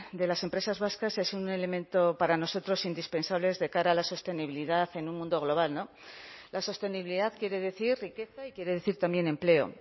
de las empresas vascas es un elemento para nosotros indispensable de cara a la sostenibilidad en un mundo global no la sostenibilidad quiere decir riqueza y quiere decir también empleo